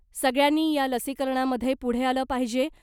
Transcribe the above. सगळ्यांनी या लसीकरणामधे पुढे आलं पाहिजे .